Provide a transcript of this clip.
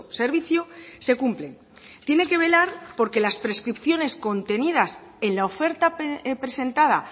servicio se cumplen tiene que velar por que las prescripciones contenidas en la oferta presentada